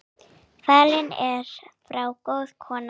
Fallin er frá góð kona.